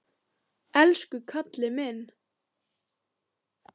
Elsku Kalli minn!